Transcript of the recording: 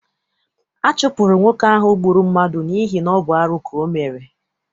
A chụpụrụ nwoke ahụ gbụrụ mmadụ n'ihi ọ bụ arụ ka ọ mere.